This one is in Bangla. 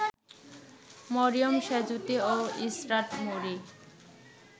মরিয়ম সেঁজুতি ও ইশরাত মৌরি